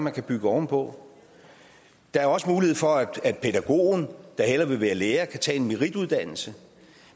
at bygge oven på der er også mulighed for at pædagogen der hellere vil være lærer kan tage en merituddannelse